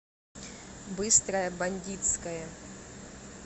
быстрая бандитская